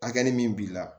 Hakɛ min b'i la